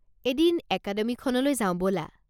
এদিন একাডেমিখনলৈ যাওঁ ব'লা।